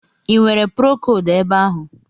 i nwere procodu ebe ahụ?